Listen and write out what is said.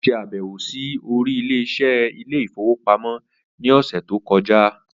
Ó ṣàbẹ̀wò sí oríléeṣẹ́ ilé ìfowópamọ́ ní ọ̀sẹ̀ tó kọjá.